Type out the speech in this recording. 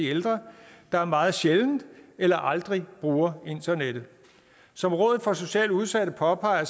ældre der meget sjældent eller aldrig bruger internettet som rådet for socialt udsatte påpeger